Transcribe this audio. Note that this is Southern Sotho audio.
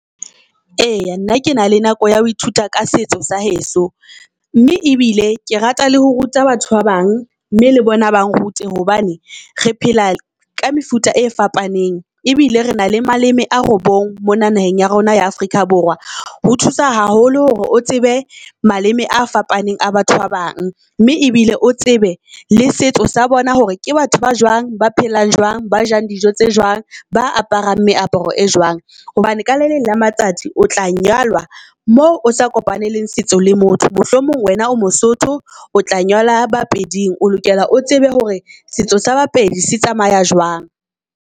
Eya nna ke na le nako ya ho ithuta ka setso sa heso mme ebile ke rata le ho ruta batho ba bang mme le bona ba rute. Hobane re phela ka mefuta e fapaneng ebile re na le maleme a robong mona naheng ya rona ya Afrika Borwa. Ho thusa haholo hore o tsebe maleme a fapaneng a batho ba bang mme ebile o tsebe le setso sa bona hore ke batho ba jwang ba phelang jwang, ba jang dijo tse jwang, ba aparang meaparo e jwang. Hobane ka le leng la matsatsi o tla nyalwa moo o sa kopaneleng setso le motho. Mohlomong wena o moSotho o tla nyalwa ba Peding o lokela o tsebe hore setso sa ba Pedi se tsamaya jwang.